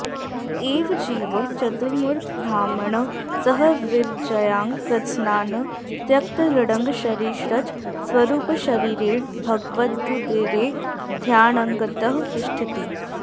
एवं जीवः चतुर्मुखब्रह्मणा सह विरजायां कृतस्नानः त्यक्तलिङ्गशरीरश्च स्वरुपशरीरेण भगवदुदरे ध्यानङ्गतः तिष्ठति